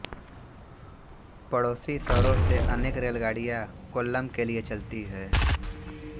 पड़ोसी शहरों से अनेक रेलगाड़ियाँ कोल्लम के लिए चलती हैं